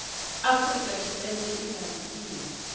afrika tshipembe i na vhuimo